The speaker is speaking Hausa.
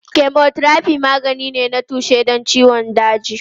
Chemotherapy magani ne na tushe don ciwon daji.